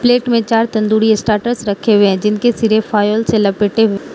plate में चार tandoori starters रखे हुए है जिनके सिरे फॉयल से लपेट हुए --